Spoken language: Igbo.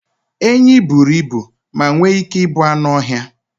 Enyí buru ibu ma nwee ike ịbụ anụ ọhịa